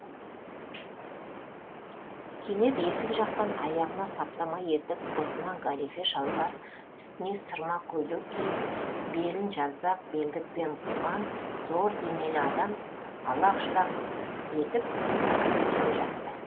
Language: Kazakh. кенет есік жақтан аяғына саптама етік бұтына галифе шалбар үстіне сырма көйлек киіп белін жалпақ белдікпен буған зор денелі адам алақ жұлақ етіп кіріп келе жатты